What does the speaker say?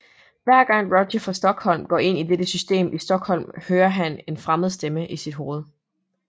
Hver gang Roger fra Stockholm går ind i dette system i Stockholm hører han en fremmeds stemme i sit hoved